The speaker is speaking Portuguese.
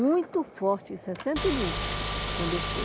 Muito forte, em sessenta e um, quando eu fui.